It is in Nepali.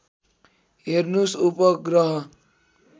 हेर्नुस् उपग्रह